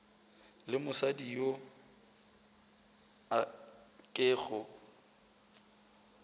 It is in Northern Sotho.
le mosadi yo a kego